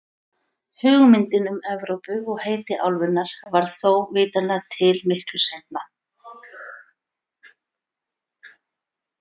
Hugmyndin um Evrópu og heiti álfunnar varð þó vitanlega til miklu seinna.